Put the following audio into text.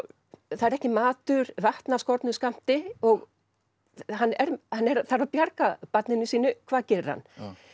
það er ekki matur vatn af skornum skammti og hann þarf að bjarga barninu sínu hvað gerir hann